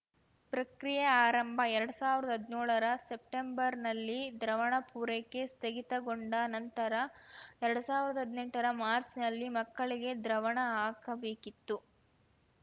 ಪ್ರಕ್ರಿಯೆ ಆರಂಭ ಎರಡ್ ಸಾವಿರ್ದಾ ಹದ್ನ್ಯೋಳರ ಸೆಪ್ಟೆಂಬರ್‌ನಲ್ಲಿ ದ್ರವಣ ಪೂರೈಕೆ ಸ್ಥಗಿತಗೊಂಡ ನಂತರ ಎರಡ್ ಸಾವಿರ್ದಾ ಹದ್ನೆಂಟರ ಮಾಚ್‌ರ್‍ನಲ್ಲಿ ಮಕ್ಕಳಿಗೆ ದ್ರವಣ ಹಾಕಬೇಕಿತ್ತು